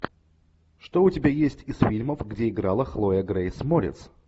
что у тебя есть из фильмов где играла хлоя грейс морец